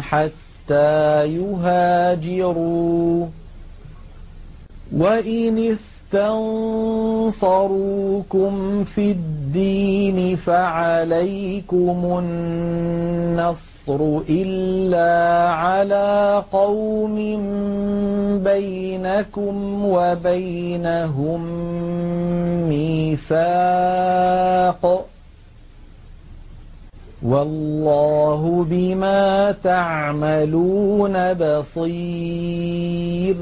حَتَّىٰ يُهَاجِرُوا ۚ وَإِنِ اسْتَنصَرُوكُمْ فِي الدِّينِ فَعَلَيْكُمُ النَّصْرُ إِلَّا عَلَىٰ قَوْمٍ بَيْنَكُمْ وَبَيْنَهُم مِّيثَاقٌ ۗ وَاللَّهُ بِمَا تَعْمَلُونَ بَصِيرٌ